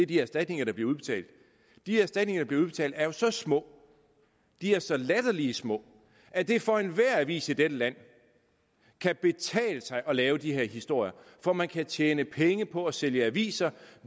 de erstatninger der bliver udbetalt de erstatninger der bliver udbetalt er jo så små de er så latterligt små at det for enhver avis i dette land kan betale sig at lave de her historier for man kan tjene penge på at sælge aviser